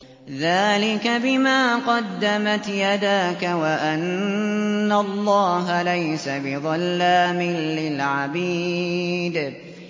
ذَٰلِكَ بِمَا قَدَّمَتْ يَدَاكَ وَأَنَّ اللَّهَ لَيْسَ بِظَلَّامٍ لِّلْعَبِيدِ